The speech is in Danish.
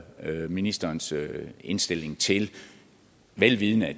høre ministerens indstilling til vel vidende at